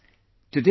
Friends,